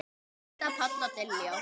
Linda, Páll og Diljá.